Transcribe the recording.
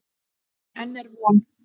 Enn er von.